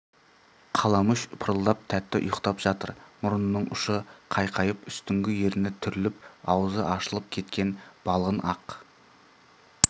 қаламүш пырылдап тәтті ұйықтап жатыр мұрнының ұшы қайқайып үстіңгі ерні түріліп аузы ашылып кеткен балғын ақ